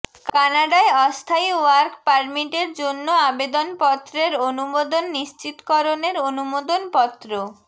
কানাডায় অস্থায়ী ওয়ার্ক পারমিটের জন্য আবেদনপত্রের অনুমোদন নিশ্চিতকরণের অনুমোদন পত্র